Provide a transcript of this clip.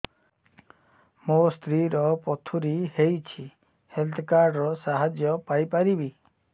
ମୋ ସ୍ତ୍ରୀ ର ପଥୁରୀ ହେଇଚି ହେଲ୍ଥ କାର୍ଡ ର ସାହାଯ୍ୟ ପାଇପାରିବି